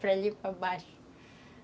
Para ali para baixo.